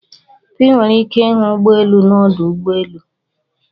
I nwere ike ịhụ ụgbọelu n'ọdụ ụgbọelu.